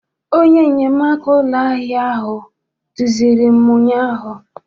Onye nnyemaaka ụlọ ahịa ahụ duziri m ụnyaahụ.